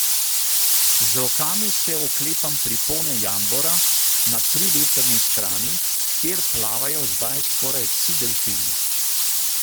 Z rokami se oklepam pripone jambora na privetrni strani, kjer plavajo zdaj skoraj vsi delfini.